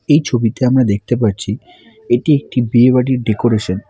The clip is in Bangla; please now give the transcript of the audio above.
এই ছবিতে আমরা দেখতে পারছি এটি একটি বিয়ে বাড়ির ডেকোরেশন ।